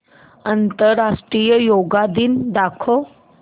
आंतरराष्ट्रीय योग दिन दाखव